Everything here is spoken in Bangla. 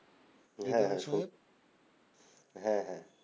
হ্যাঁ হ্যাঁ শুন হ্যাঁ হ্যাঁ